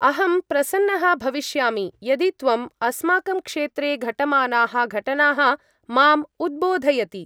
अहं प्रसन्नः भविष्यामि यदि त्वं अस्माकं क्षेत्रे घटमानाः घटनाः माम् उद्बोधयति।